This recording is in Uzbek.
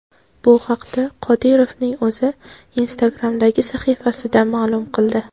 Bu haqda Qodirovning o‘zi Instagram’dagi sahifasida ma’lum qildi .